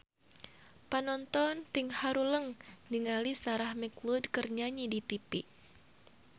Panonton ting haruleng ningali Sarah McLeod keur nyanyi di tipi